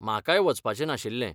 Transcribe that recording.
म्हाकाय वचपाचें नाशिल्लें.